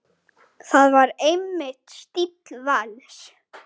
Það var einmitt stíll Vals.